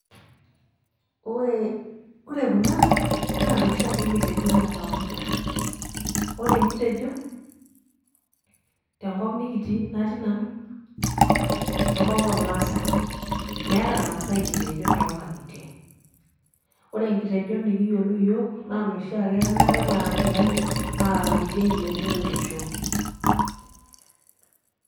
ore kuna naa inoshiake kitejon e kawaida ore enkitejo, tenkop nikitii, natii nanu, tenkop oormaasae, meeta irmaasae nkitejon too nkang'itie. ore nkitejon naatae, naa inoshi ake ye ong'ata naar ilayiok aaraki ildein.